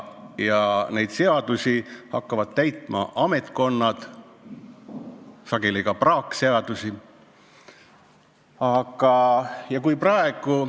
Ja neid seadusi, sageli ka praakseadusi, hakkavad täitma ametkonnad.